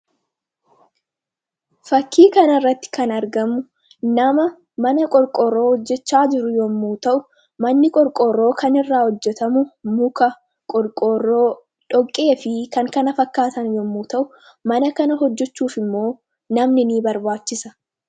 Fakkii kanarratti kanarratti kan argamu nama mana qorqoorroo hojjachaa jiru yommuu ta'u, manni qorqoorroo kan irraa hojjatamu muka, qorqoorroo, dhoqqee fi kan kana fakkaatan yemmuu ta'u, mana kana hojjachuuf immoo namni ni barbaachisa.